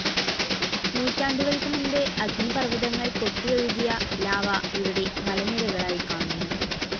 നൂറ്റാണ്ടുകൾക്ക് മുൻപ് അഗ്നിപർവതങ്ങൾ പൊട്ടിയൊഴുകിയ ലാവ ഇവിടെ മലനിരകളായി കാണുന്നു.